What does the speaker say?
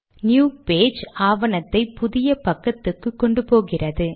new page கட்டளை ஆவணத்தை புதிய பக்கத்துக்கு கொண்டுபோகிறது